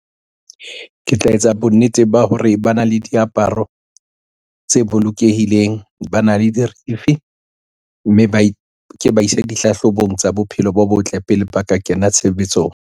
Ke tla etsa bonnete ba hore ba na le diaparo, tse bolokehileng. Ba na le dirifi, mme ke ba ise dihlahlobong tsa bophelo bo botle pele ba ka kena tshebetsong.